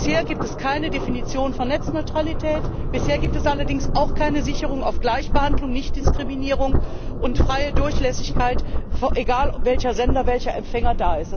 Bisher gibt es keine Definition von Netzneutralität, bisher gibt es allerdings auch keine Sicherung von Gleichbehandlung, Nichtdiskriminierung und freier Durchlässigkeit, unabhängig von Sender und Empfänger.